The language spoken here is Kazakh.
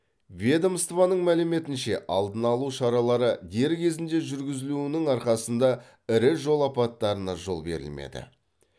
ведомствоның мәліметінше алдына алу шаралары дер кезінде жүргізілуінің арқасында ірі жол апаттарына жол берілмеді